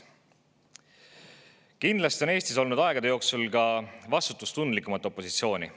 Kindlasti on Eestis olnud aegade jooksul ka vastutustundlikumat opositsiooni.